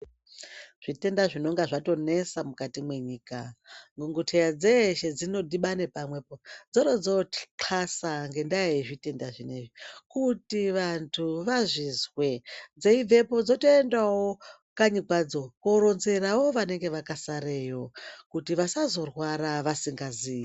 Zvitenda zvinonga zvandonesa mukati mwenyika. Dhokoteya dzeshe dzinodhibana pamwe po dzorodzoxlasa ngendaa yezvitenda zvinezvi. Kuti vantu vazvizwe. Dzeibvapo dzotoenda wo kanyi kwadzo kutooronzerawo vanenge vakasareyo. Kuti vasazorwara vasingazii.